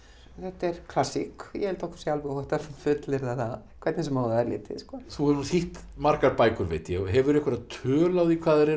þetta er klassík ég held að okkur sé alveg óhætt að fullyrða það hvernig sem á það er litið sko þú hefur þýtt margar bækur veit ég hefurðu einhverja tölu á því hvað þær eru